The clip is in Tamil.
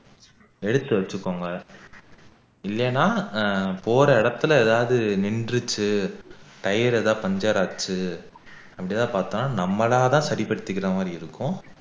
எடுத்து வச்சிக்கொங்க இல்லைன்னா ஆஹ் போற இடத்துல ஏதாவது நின்னுடுச்சு tire ஏதாவது puncture ஆச்சு அப்படி ஏதாவது பாத்தா நம்மளால சரிப்படுத்திக்கிற மாதிரி இருக்கும்